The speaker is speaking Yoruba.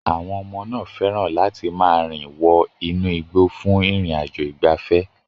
Àwọn ọmọ náà fẹ́ràn láti máa rìn wọ inú igbó fún ìrìn-àjò ìgbafẹ́.